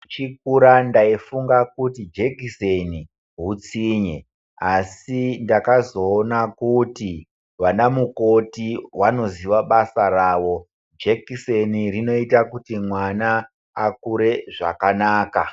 Ndichikura ndaifunga kuti jekiseni hutsinye asi ndakazoona kuti vana mukoti vano ziva basa ravo jekiseni rinoita kuti nwana akure zvakanaka .